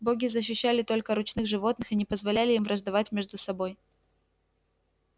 боги защищали только ручных животных и не позволяли им враждовать между собой